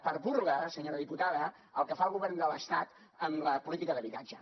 per burla senyora diputada el que fa el govern de l’estat amb la política d’habitatge